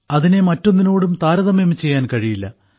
അതിനെ മറ്റൊന്നിനോടും താരതമ്യം ചെയ്യാൻ കഴിയില്ല